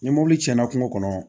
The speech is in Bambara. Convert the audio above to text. Ni mobili cɛnna kungo kɔnɔ